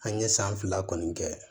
An ye san fila kɔni kɛ